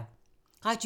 Radio 4